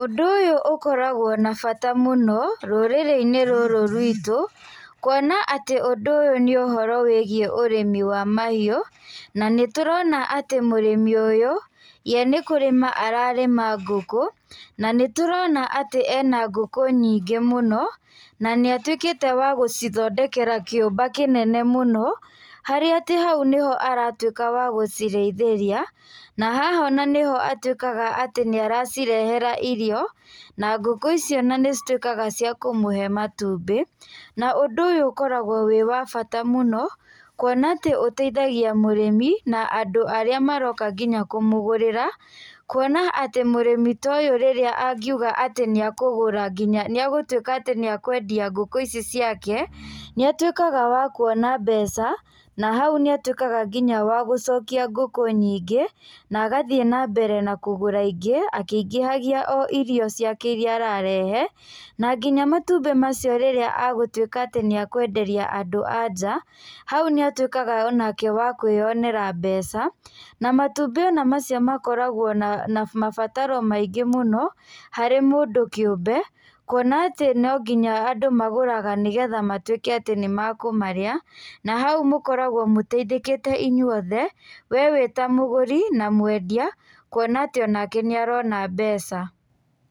Ũndũ ũyũ ũkoragwo na bata mũno rũrĩrĩ-inĩ rũrũ rwĩtũ, kuona atĩ ũndũ ũyũ nĩ ũhoro wĩigiĩ ũrĩmi wa mahiũ. Na nĩ tũrona atĩ mũrĩmi ũyũ ye nĩ kũrĩma ararĩma ngũkũ na nĩ tũrona atĩ ena ngũkũ nyingĩ mũno, na nĩ atuĩkĩte wa gũcithondekera kĩũmba kĩnene mũno, harĩa atĩ hau nĩ atatuĩka wa gũcirĩithĩria na haha ona nĩho atuĩkaga atĩ nĩ aracirehera irio, na ngũkũ icio nĩ cituĩkaga cia kũmũhe matumbĩ. Na ũndũ ũyũ ũkoragwo wĩ wa mbata mũno, kuona atĩ ũteithagia mũrĩmi na andũ arĩa maroka nginya kũmũgũrĩra, kuona ta mũrĩmi ta ũyũ rĩrĩa angiuga atĩ nĩ akũgũra nginya, nĩ agũtuĩka atĩ nĩ akwendia ngũkũ ici ciake nĩ atuĩkaga wa kuona mbeca, na hau nĩ atuĩkaga nginya wa gũcokia ngũkũ nyingĩ, na agathiĩ na mbere na kũgũra ingĩ akĩingĩhagia irio ciake iria ararehe. Na nginya matumbĩ macio rĩrĩa agũtuĩka nĩ akwenderia andũ a nja, hau nĩ atuĩkaga nake wa kũĩyonera mbeca. Na matumbĩ ano macio makoragwo na mabataro maingĩ mũno harĩ mũndũ kĩũmbe, kuona atĩ no nginya andũ magũraga, nĩ getha matuĩke atĩ nĩ makũmarĩa na hau mũkoragwo mũteithĩkĩte inyuothe, we wĩta mũgũri na mwendia kuona atĩ onake nĩ arona mbeca.